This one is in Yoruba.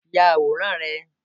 Ya àwòrán Ààrẹ!